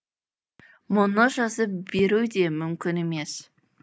мұны жазып беру де мүмкін емес